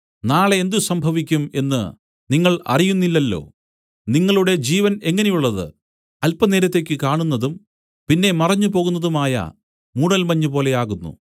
നാളെ എന്ത് സംഭവിക്കും എന്ന് നിങ്ങൾ അറിയുന്നില്ലല്ലോ നിങ്ങളുടെ ജീവൻ എങ്ങനെയുള്ളത് അല്പനേരത്തേക്ക് കാണുന്നതും പിന്നെ മറഞ്ഞു പോകുന്നതുമായ മൂടൽമഞ്ഞ് പോലെയാകുന്നു